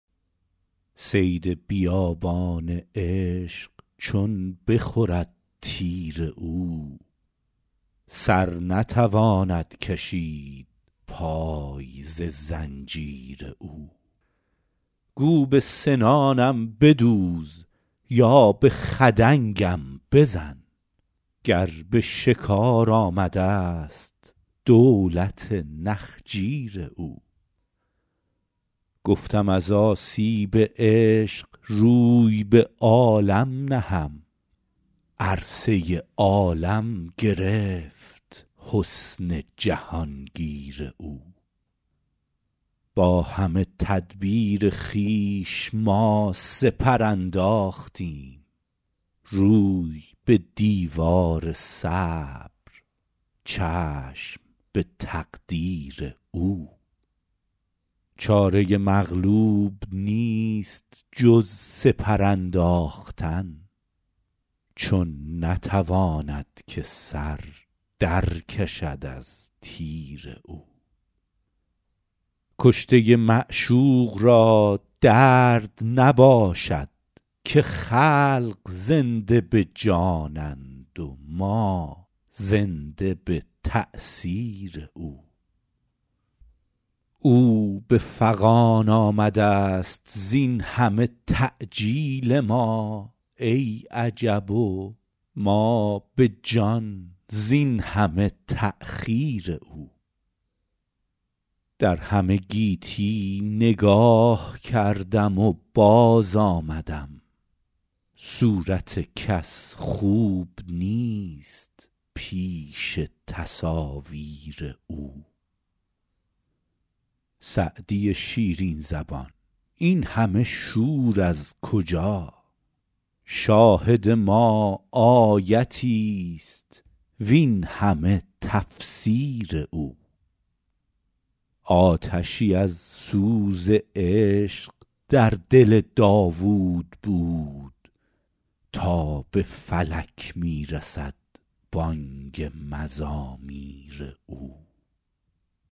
صید بیابان عشق چون بخورد تیر او سر نتواند کشید پای ز زنجیر او گو به سنانم بدوز یا به خدنگم بزن گر به شکار آمده ست دولت نخجیر او گفتم از آسیب عشق روی به عالم نهم عرصه عالم گرفت حسن جهان گیر او با همه تدبیر خویش ما سپر انداختیم روی به دیوار صبر چشم به تقدیر او چاره مغلوب نیست جز سپر انداختن چون نتواند که سر در کشد از تیر او کشته معشوق را درد نباشد که خلق زنده به جانند و ما زنده به تأثیر او او به فغان آمده ست زین همه تعجیل ما ای عجب و ما به جان زین همه تأخیر او در همه گیتی نگاه کردم و باز آمدم صورت کس خوب نیست پیش تصاویر او سعدی شیرین زبان این همه شور از کجا شاهد ما آیتی ست وین همه تفسیر او آتشی از سوز عشق در دل داوود بود تا به فلک می رسد بانگ مزامیر او